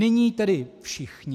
Nyní tedy všichni.